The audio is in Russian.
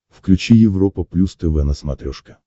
включи европа плюс тв на смотрешке